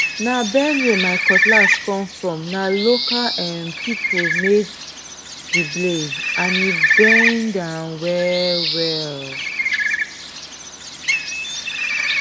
na benue my cutlass come from na local um people made the blade and e bend um well well